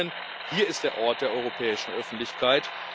Frau Ministerin, hier ist der Ort der europäischen Öffentlichkeit.